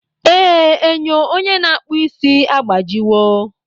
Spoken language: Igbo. Ee, enyo onye na-akpụ isi agbajiwo